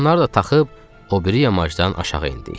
Onları da taxıb, o biri yamaçdan aşağı endik.